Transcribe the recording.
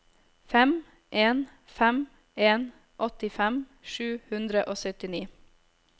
fem en fem en åttifem sju hundre og syttini